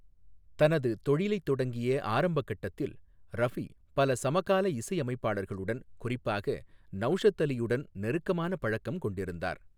தனது தொழிலைத் தொடங்கிய ஆரம்பக் கட்டத்தில், ரஃபி பல சமகால இசையமைப்பாளர்களுடன், குறிப்பாக நௌஷத் அலியுடன் நெருக்கமான பழக்கம் கொண்டிருந்தார்.